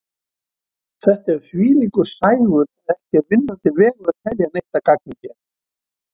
Þetta er þvílíkur sægur að ekki er vinnandi vegur að telja neitt að gagni hér.